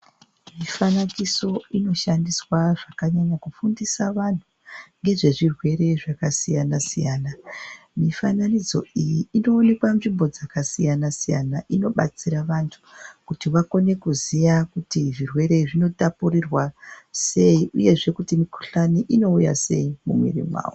Mifanakiso inoshandiswa zvakanyanya kufundisa vantu ngezvezvirwere zvakasiyana siyana. Mifananidzo iyi inoonekwa nzvimbo dzakasiyana siyana, inobatsira vanhu kuti vakone kuziya kuti zvirwere zvinotapurirwa sei, uyezve kuti mukhuhlani inouya sei mumwiri mwawo.